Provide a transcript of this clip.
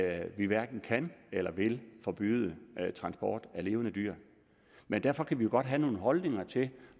at vi hverken kan eller vil forbyde transport af levende dyr men derfor kan vi jo godt have nogle holdninger til